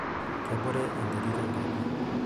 Kebore enterit enkaji.